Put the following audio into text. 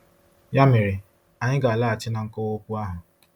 Ya mere, anyị ga-alaghachi na nkọwa okwu ahụ.